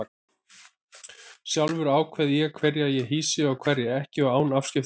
Sjálfur ákveð ég hverja ég hýsi og hverja ekki og án afskipta annarra.